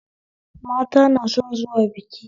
Mata na son zuwa biki